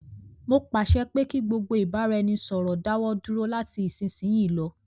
Mó pàṣẹ pé kí gbogbo ìbáraẹnisọ̀rọ̀ dáwọ dúró lati isisiyi lọ.